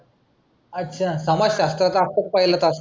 अच्छा समाजशास्त्राचा तास हमखास पहिला असतो.